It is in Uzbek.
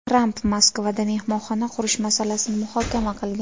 Tramp Moskvada mehmonxona qurish masalasini muhokama qilgan.